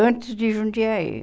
Antes de Jundiaí.